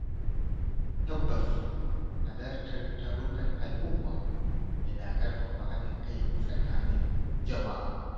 Tabbas Halartar tarukan al’umma yana ƙarfafa haɗin kai tsakanin jama’a.